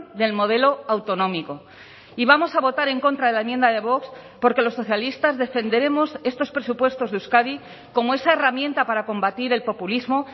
del modelo autonómico y vamos a votar en contra de la enmienda de vox porque los socialistas defenderemos estos presupuestos de euskadi como esa herramienta para combatir el populismo